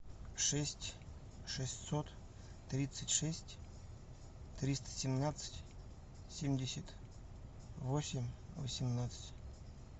шесть шестьсот тридцать шесть триста семнадцать семьдесят восемь восемнадцать